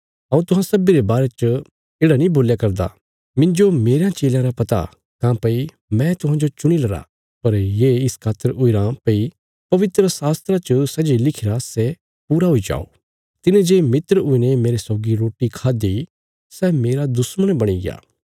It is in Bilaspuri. हऊँ तुहां सब्बीं रे बारे च येढ़ा नीं बोल्या करदा मिन्जो मेरयां चेलयां रा पता काँह्भई मैं तुहांजो चुणीलरा पर ये इस खातर हुईरां भई पवित्रशास्त्रा च सै जे लिखिरा सै पूरा हुई जाओ तिने जे मित्र हुईने मेरे सौगी रोटी खाद्दि सै मेरा दुश्मण बणीग्या